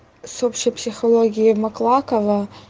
с общей психологией маклакова